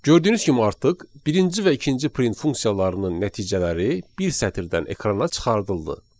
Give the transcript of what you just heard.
Gördüyünüz kimi artıq birinci və ikinci print funksiyalarının nəticələri bir sətirdən ekrana çıxarıldı.